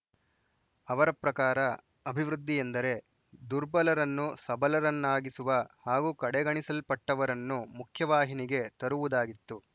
ಅವರ ಪ್ರಕಾರ ಅಭಿವೃದ್ಧಿ ಎಂದರೆ ದುರ್ಬಲರನ್ನು ಸಬಲರನ್ನಾಗಿಸುವ ಹಾಗೂ ಕಡೆಗಣಿಸಲ್ಪಟ್ಟವರನ್ನು ಮುಖ್ಯವಾಹಿನಿಗೆ ತರುವುದಾಗಿತ್ತು